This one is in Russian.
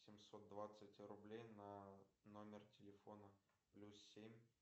семьсот двадцать рублей на номер телефона плюс семь